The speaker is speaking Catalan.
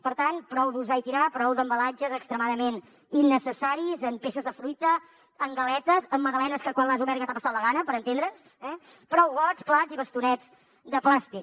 per tant prou d’usar i tirar prou d’embalatges extremadament innecessaris en peces de fruita en galetes en magdalenes que quan les has obert ja t’ha passat la gana per entendre’ns eh prou gots plats i bastonets de plàstic